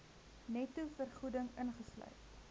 netto vergoeding ingesluit